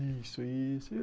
Isso, isso.